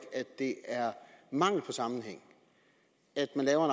at det er mangel på sammenhæng at man laver